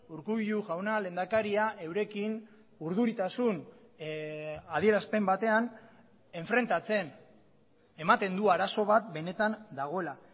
urkullu jauna lehendakaria eurekin urduritasun adierazpen batean enfrentatzen ematen du arazo bat benetan dagoela